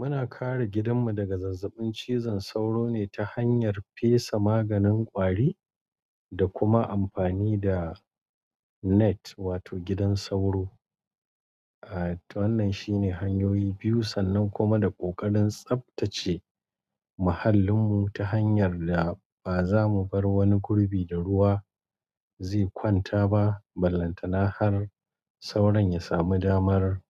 Muna kare gidanmu daga zazzabin cizon sauro ne ta hanyar fesa maganin ƙwari da kuma amfani da net wato gidan sauro. Wannan shine hanyoyi biyu sannan kuma da ƙoƙarin tsaftace mahallinmu ta hanyar da ba za mu bar wani gurbi da ruwa ze kwanta ba. Ballanta na har sauron ya samu damar